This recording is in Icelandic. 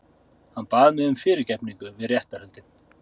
Hann bað um fyrirgefningu við réttarhöldin